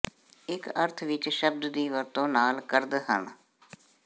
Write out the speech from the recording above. ਇਕ ਅਰਥ ਵਿਚ ਸ਼ਬਦ ਦੀ ਵਰਤੋ ਨਾਲ ਕਰਦ ਹਨ